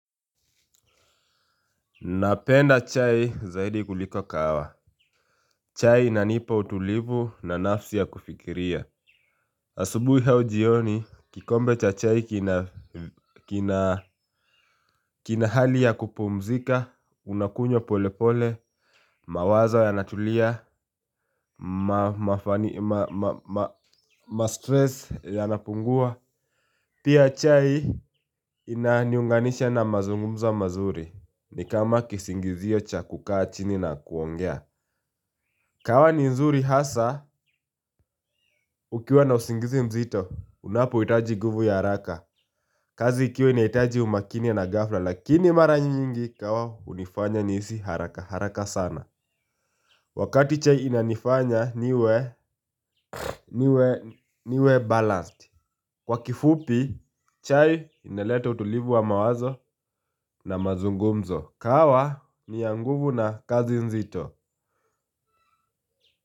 Napenda chai zaidi kuliko kahawa. Chai inanipa utulivu na nafsi ya kufikiria. Asubui au jioni kikombe cha chai kina kina hali ya kupumzika unakunywa pole pole. Mawaza yanatulia ma ma ma ma ma ma mastress yanapungua. Pia chai inaniunganisha na mazungumzo mazuri ni kama kisingizio cha kukaa chini na kuongea. Kahawa ni nzuri hasa ukiwa na usingizi mzito unapohitaji nguvu ya haraka. Kazi ikiwa inahitaji umakini na ghafla lakini mara nyingi kahawa hunifanya nihisi haraka haraka sana wakati chai inanifanya niwe balanced kwa kifupi chai inaleta utulivu wa mawazo na mazungumzo. Kahawa ni ya nguvu na kazi nzito.